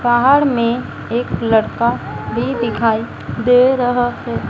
बाहर में एक लड़का भी दिखाई दे रहा है।